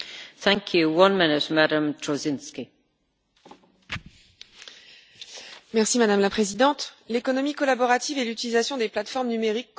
Madame la Présidente, l'économie collaborative et l'utilisation des plateformes numériques constituent une véritable révolution pour de nombreux secteurs économiques déjà fortement déstabilisés.